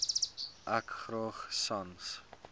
ek graag sans